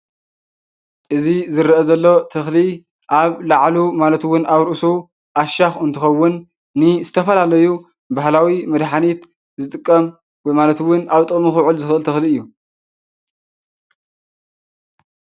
እዚ ዝረአ ዘሎ ተኽሊ ኣብ ላዕሉ ማለት እውን ኣብ ርእሱ ዓሻኽ እንትኸውን ንዝተፈላለዩ ባህላዊ መድሓኒት ዝጥቀም ማለት እውን ኣብ ጥቅሚ ኽውዕል ዝኽእል ተኽሊ እዩ።